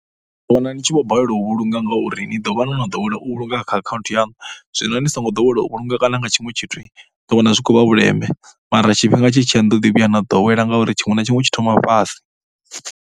Ni ḓo wana ni tshi vho balelwa u vhulunga ngauri ni ḓo vha no no ḓowela u vhulunga kha akhaunthu yaṋu, zwino ni songo ḓowela u vhulunga kana nga tshiṅwe tshithu ni ḓowana zwi khou vha vhuleme mara tshifhinga tshi tshi ya ni ḓo ḓi vhuya na ḓowela ngauri tshiṅwe na tshiṅwe tshi thoma fhasi.